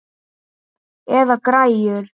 Eða græjur.